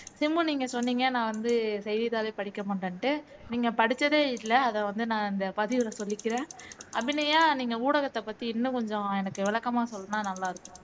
சிம்பு நீங்க சொன்னீங்க நான் வந்து செய்திதாளே படிக்க மாட்டேன்னுட்டு நீங்க படிச்சதே இல்ல அதை வந்து நான் இந்த பதிவுல சொல்லிக்கிறேன் அபிநயா நீங்க ஊடகத்தை பத்தி இன்னும் கொஞ்சம் எனக்கு விளக்கமா சொன்னா நல்லா இருக்கும்